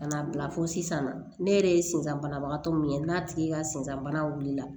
Ka n'a bila fo sisan na ne yɛrɛ ye senzan banabagatɔ min ye n'a tigi ka sendan bana wulila